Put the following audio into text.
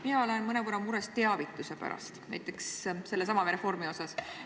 Mina olen selle reformi puhul mõnevõrra mures teavituse pärast.